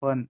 पण